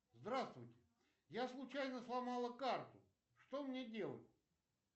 здравствуйте я случайно сломала карту что мне делать